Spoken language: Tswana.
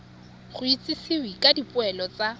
go itsisiwe ka dipoelo tsa